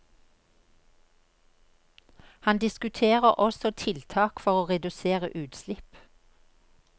Han diskuterer også tiltak for å redusere utslipp.